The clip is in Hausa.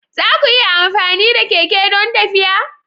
Za ku iya amfani da keke don tafiya?